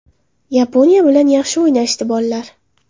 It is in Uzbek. Yaponiya bilan yaxshi o‘ynashdi bollar.